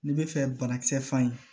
N'i bɛ fɛ banakisɛ fa ye